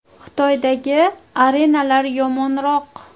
Xitoydagi arenalar yomonroq.